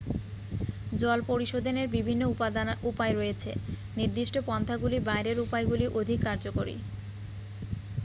জল পরিশোধনের বিভিন্ন উপায় রয়েছে নির্দিষ্ট পন্থাগুলির বাইরের উপায়গুলি অধিক কার্যকরী